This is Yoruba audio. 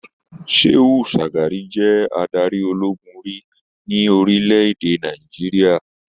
Shehu Shagari je adarí ológun rí ní orílẹ̀-èdè Nàìjíríà.